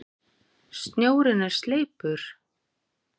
Snjórinn er sleipur!